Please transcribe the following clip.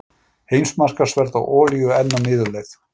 Heimsmarkaðsverð á olíu enn á niðurleið